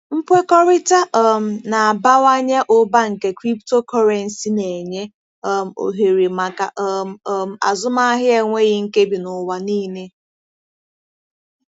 Nkwekọrịta um na-abawanye ụba nke cryptocurrency na-enye um ohere maka um um azụmahịa enweghị nkebi n'ụwa niile.